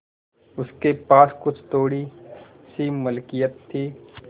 उसके पास कुछ थोड़ीसी मिलकियत थी